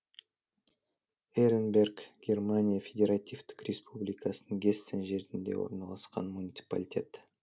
эренберг германия федеративтік республикасының гессен жерінде орналасқан муниципалитет